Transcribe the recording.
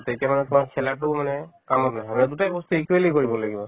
তেতিয়া মানে তোমাৰ খেলাতোও মানে কামত নাহে মানে দুটাই বস্তু equally কৰিব লাগিব